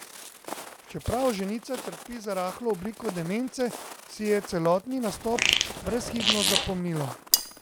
Čeprav ženica trpi za rahlo obliko demence, si je celotni nastop brezhibno zapomnila.